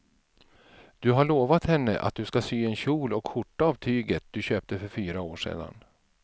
Du har lovat henne att du ska sy en kjol och skjorta av tyget du köpte för fyra år sedan.